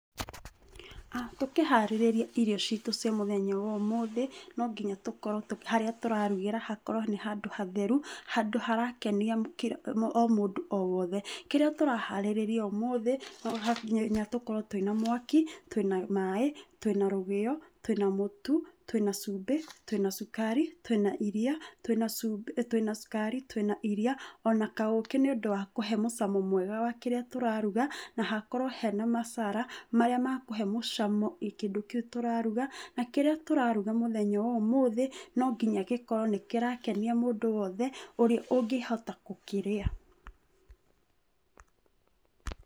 Tũkĩharĩrĩria irio citũ cia mũthenya wa ũmũthĩ, nonginya harĩa tũrarugĩra hakorwo nĩ handũ hatheru. Handũ harakenia o mũndũ o wothe. Kĩrĩa tũraharĩrĩria ũmũthĩ, nonginya tũkorwo twĩna mwaki, twĩna maaĩ, twĩna rũgĩo, twĩna mũtu, twina cumbi, twĩna cukari, twĩna iria, twĩna cukari, twina iria ona kaũkĩ nĩũndũ wa kũhe mũcamo mwega wa kĩrĩa tũraruga, na hakorwo hena masala, marĩa makũhe mũcamo kĩrĩa tũraruga. Na kĩrĩa tũraruga mũthenya wa ũmũthĩ, nonginya gĩkorwo nĩ kĩrakenia mũndũ wothe, ũrĩa ũngĩhota gũkĩrĩa.